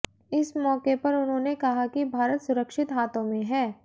इस मौके पर उन्होंने कहा कि भारत सुरक्षित हाथों में है